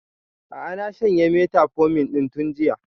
A'a na shanye metformin ɗin tun jiya